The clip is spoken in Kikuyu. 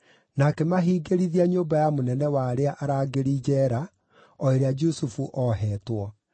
na akĩmahingĩrithia nyũmba ya mũnene wa arĩa arangĩri njeera, o ĩrĩa Jusufu oheetwo.